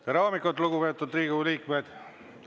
Tere hommikut, lugupeetud Riigikogu liikmed!